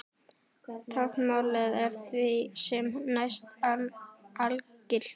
Táknmálið er því sem næst algilt.